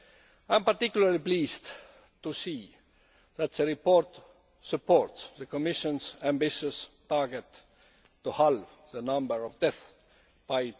I am particularly pleased to see that the report supports the Commission's ambitious target to halve the number of deaths by